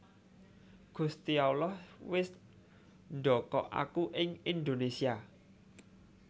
Gusti Allah wis ndokok aku ing Indonésia